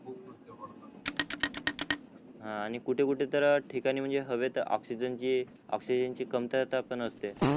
हा आणि कुठे कुठे तर ठिकाणी म्हणजे हवेत ऑक्सिजन जे ऑक्सिजनची कमतरता पण असते